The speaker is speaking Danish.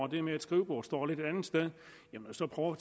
det med at skrivebordet står et lidt andet sted så prøv at